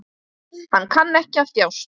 Hann kann ekki að þjást.